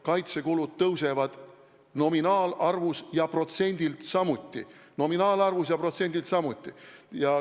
Kaitsekulud kasvavad nominaalselt ja protsendilt samuti.